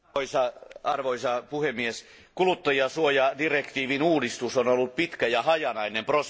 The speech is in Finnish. Arvoisa puhemies, kuluttajansuojadirektiivin uudistus on ollut pitkä ja hajanainen prosessi.